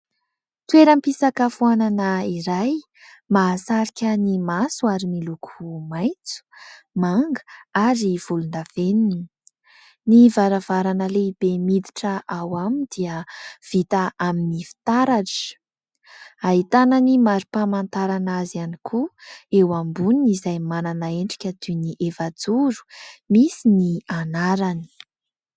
Toeram-pisakafoanana iray mahasarika ny maso ary miloko maitso, manga ary volondavenona. Ny varavarana lehibe miditra ao aminy dia vita amin'ny fitaratra, ahitana ny mari-pamantarana azy ihany koa eo amboniny izay manana endrika toy ny efajoro misy ny anarany.